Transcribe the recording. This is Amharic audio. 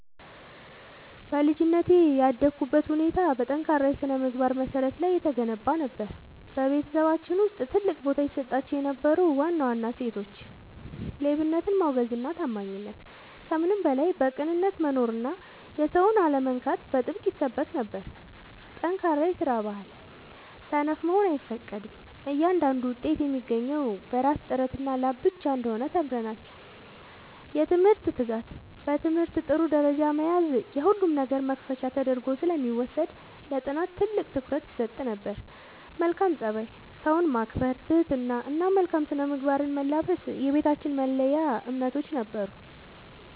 በልጅነቴ ያደግኩበት ሁኔታ በጠንካራ የሥነ-ምግባር መሠረት ላይ የተገነባ ነበር። በቤተሰባችን ውስጥ ትልቅ ቦታ ይሰጣቸው የነበሩ ዋና ዋና እሴቶች፦ ሌብነትን ማውገዝና ታማኝነት፦ ከምንም በላይ በቅንነት መኖርና የሰውን አለመንካት በጥብቅ ይሰበክ ነበር። ጠንካራ የስራ ባህል፦ ሰነፍ መሆን አይፈቀድም፤ እያንዳንዱ ውጤት የሚገኘው በራስ ጥረትና ላብ ብቻ እንደሆነ ተምረናል። የትምህርት ትጋት፦ በትምህርት ጥሩ ደረጃ መያዝ የሁሉም ነገር መክፈቻ ተደርጎ ስለሚወሰድ ለጥናት ትልቅ ትኩረት ይሰጥ ነበር። መልካም ፀባይ፦ ሰውን ማክበር፣ ትህትና እና መልካም ስነ-ምግባርን መላበስ የቤታችን መለያ እምነቶች ነበሩ።